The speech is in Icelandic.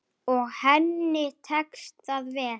Og henni tekst það vel.